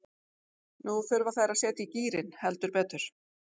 Nú þurfa þær að setja í gírinn, heldur betur.